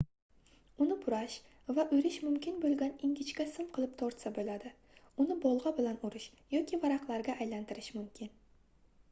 uni burash va oʻrish mumkin boʻlgan ingichka sim qilib tortsa boʻladi uni bolgʻa bilan urish yoki varaqlarga aylantirish mumkin